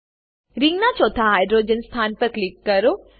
રિંગનાં ચોથા હાઇડ્રોજન સ્થાન પર ક્લિક કરો